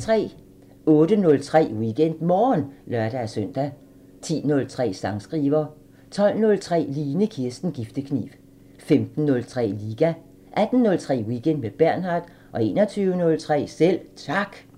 08:03: WeekendMorgen (lør-søn) 10:03: Sangskriver 12:03: Line Kirsten Giftekniv 15:03: Liga 18:03: Weekend med Bernhard 21:03: Selv Tak